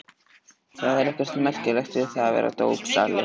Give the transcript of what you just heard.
Það er ekkert merkilegt við það að vera dópsali.